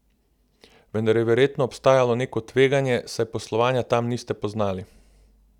Vendar je verjetno obstajalo neko tveganje, saj poslovanja tam niste poznali?